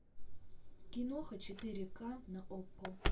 киноха четыре ка на окко